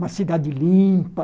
Uma cidade limpa.